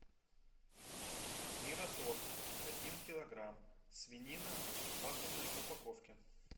мираторг один килограмм свинина в вакуумной упаковке